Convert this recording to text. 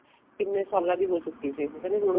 ਕਿੰਨੇ ਸਾਲਾ ਦੀ ਹੋ ਚੁੱਕੀ ਹੋ ਕਹਿੰਦੇ ਹੁਣ ਉਹ